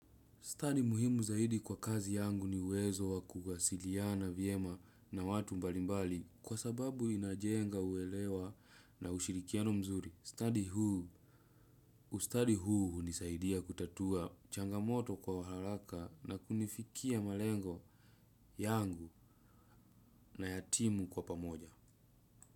Stadi muhimu zaidi kwa kazi yangu ni uwezo wa kuwasiliana vyema na watu mbalimbali kwa sababu inajenga uelewa na ushirikiano mzuri. Stadi huu ustadi huu unisaidia kutatua changamoto kwa haraka na kunifikia malengo yangu na yatimu kwa pamoja.